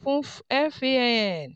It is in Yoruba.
fún FAAN.